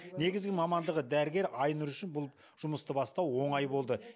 негізгі мамандығы дәрігер айнұр үшін бұл жұмысты бастау оңай болды